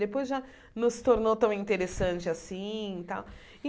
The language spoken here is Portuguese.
Depois já não se tornou tão interessante assim e tal.